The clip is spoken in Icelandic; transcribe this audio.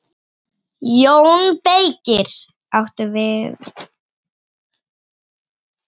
JÓN BEYKIR: Áttu við.